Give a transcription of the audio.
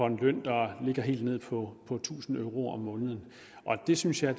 en løn der ligger helt nede på tusind euro om måneden og det synes jeg